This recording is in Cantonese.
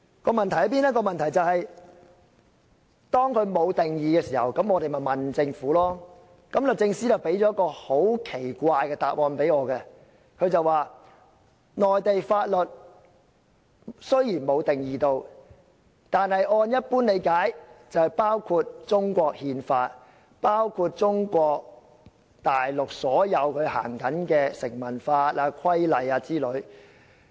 "《條例草案》沒有就此定義，那我們便向政府查詢，而律政司向我提供了一個很奇怪的答案：雖然《條例草案》並無就"內地法律"作出定義，但按一般理解，"內地法律"包括中國憲法，以及所有在中國行使的成文法、規例等，而且